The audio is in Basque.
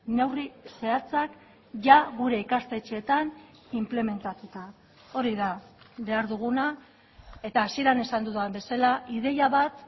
neurri zehatzak jada gure ikastetxeetan inplementatuta hori da behar duguna eta hasieran esan dudan bezala ideia bat